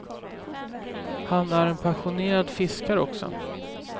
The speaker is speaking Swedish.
Han är en passionerad fiskare också.